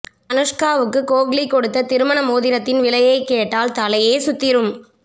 அனுஷ்காவுக்கு கோஹ்லி கொடுத்த திருமண மோதிரத்தின் விலையை கேட்டால் தலையே சுத்திரும்